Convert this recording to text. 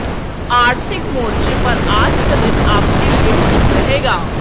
आर्थिक मोर्चे पर आज का दिन आपके लिए ठीक रहेगा